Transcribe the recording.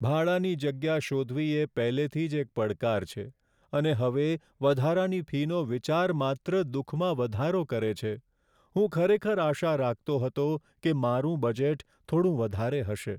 ભાડાની યોગ્ય જગ્યા શોધવી એ પહેલેથી જ એક પડકાર છે, અને હવે વધારાની ફીનો વિચાર માત્ર દુઃખમાં વધારો કરે છે. હું ખરેખર આશા રાખતો હતો કે મારું બજેટ થોડું વધારે હશે.